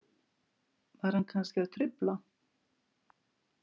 Var hann kannski að trufla?